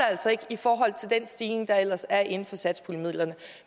altså ikke i forhold til den stigning der ellers er inden for satspuljemidlerne